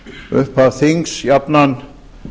upphaf þings jafnan